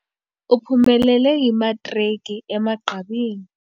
Uphumelele imatriki emagqabini.